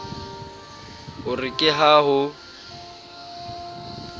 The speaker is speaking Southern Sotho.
e re ka ha ho